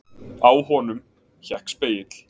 Á honum hékk spegill.